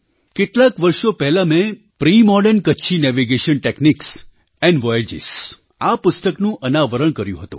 કેટલાંક વર્ષો પહેલાં મેં pre modern Kutchi navigation techniques and voyages આ પુસ્તકનું અનાવરણ કર્યું હતું